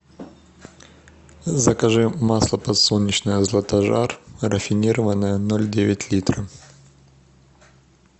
закажи масло подсолнечное златожар рафинированное ноль девять литров